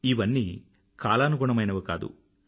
ఇవన్నీ కాలానుగుణమైనవి కాదు